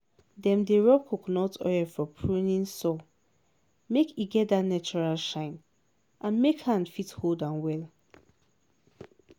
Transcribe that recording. dem dey rub coconut oil for pruning saw make e get dat natural shine and make hand fit hold am well.